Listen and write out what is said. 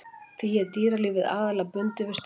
Því er dýralífið aðallega bundið við ströndina.